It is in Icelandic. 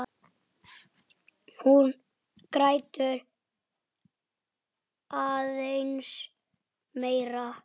Hún grætur aðeins meira.